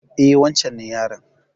E, wancen ne yaron.